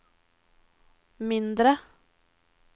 mindre